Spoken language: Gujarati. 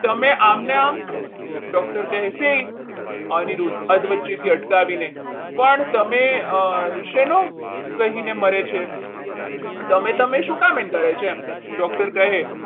તમે આમને આમ doctor કહે છે અનિરુદ્ધ અધ વચ્ચેથી અટકાવીને પણ તમે શેનું રહીને મરે છે તમે તમે શું કામ એમ કરે છે એમ doctor કહે